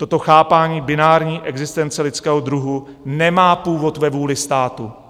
Toto chápání binární existence lidského druhu nemá původ ve vůli státu."